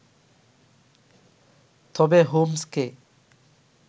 তবে হোমসকে